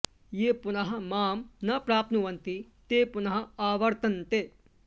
ये पुनः मां न प्राप्नुवन्ति ते पुनः आवर्तन्ते